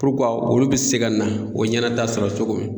olu bɛ se ka na o ɲɛnata sɔrɔ cogo min.